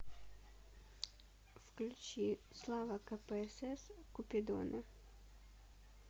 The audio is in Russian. включи слава кпсс купидоны